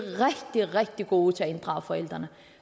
er rigtig rigtig gode til at inddrage forældrene